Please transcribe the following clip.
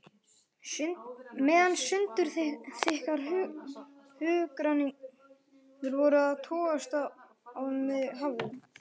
Meðan sundurþykkar hugrenningar voru að togast á um mig hafði